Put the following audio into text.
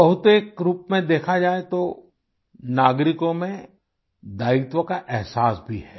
बहुत एक रूप में देखा जाए तो नागरिकों में दायित्व का एहसास भी है